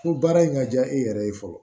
Ko baara in ka diya e yɛrɛ ye fɔlɔ